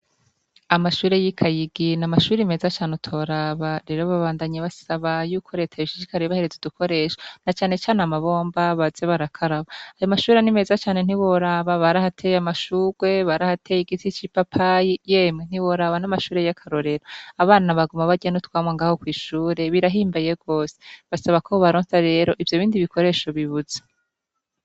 Amashure y'ikayigi n'amashure meza cane utoraba rero babandanya basaba yuko reta yoshishikara ibahereze udukoresha nacanecane amabomba baze barakaraba. Ayomashure nimeza cane ntiworaba. barahateye amashurwe, barahateye igiti c'ipapayi yemwe ntiworaba n'amashure y'akarorero. Abana baguma barya n'utwamwa ngaho kw'ishure birahimbaye gose. Basaba ko bobaronsa rero ivyo bindi bikoresho bibuze.